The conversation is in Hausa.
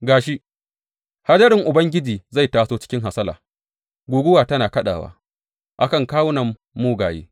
Ga shi, hadarin Ubangiji zai taso cikin hasala guguwa tana kaɗawa a kan kawunan mugaye.